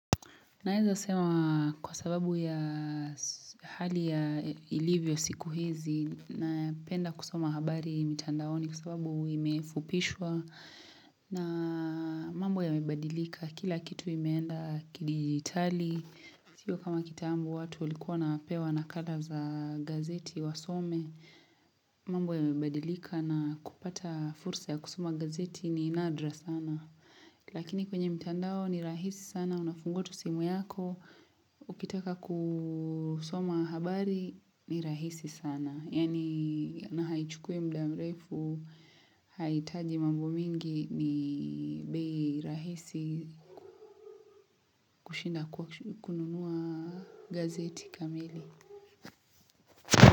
Naeza sema kwa sababu ya hali ya ilivyo siku hizi napenda kusoma habari mitandaoni kwa sababu imefupishwa na mambo yamebadilika kila kitu imeenda kidijitali. Sio kama kitambo watu walikuwa wanapewa nakala za gazeti wasome, mambo yamebadilika na kupata fursa ya kusoma gazeti ni nadra sana. Lakini kwenye mtandao ni rahisi sana, unafungua tu simu yako, ukitaka kusoma habari ni rahisi sana. Yaani na haichukui mda mrefu haihitaji mambo mingi ni bei rahisi kushinda kununua gazeti kamili.